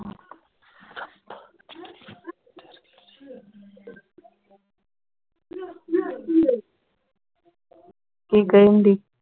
ਕਿ ਕਹਿਣ ਢਈ